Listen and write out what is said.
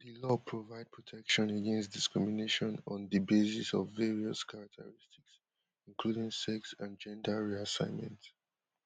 di law provide protection against discrimination on di basis of various characteristics including sex and gender reassignment